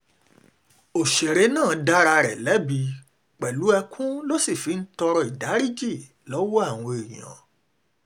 ọ̀sẹ̀rẹ̀ náà dá ara rẹ̀ lẹ́bi pẹ̀lú ẹkún ló sì fi ń tọrọ ìdáríjì lọ́wọ́ àwọn èèyàn